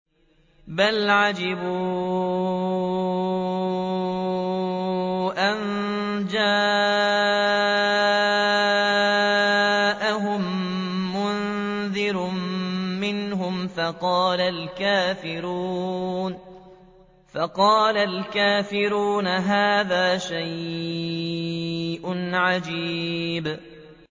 بَلْ عَجِبُوا أَن جَاءَهُم مُّنذِرٌ مِّنْهُمْ فَقَالَ الْكَافِرُونَ هَٰذَا شَيْءٌ عَجِيبٌ